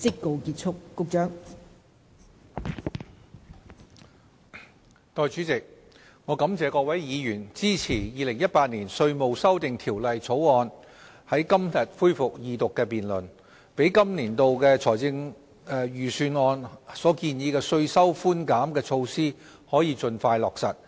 代理主席，我感謝各位議員支持《2018年稅務條例草案》在今天恢復二讀辯論，讓本年度政府財政預算案所建議的稅收寬減措施可以盡快落實。